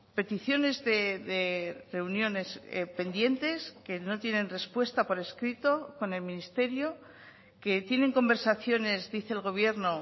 peticiones de reuniones pendientes que no tienen respuesta por escrito con el ministerio que tienen conversaciones dice el gobierno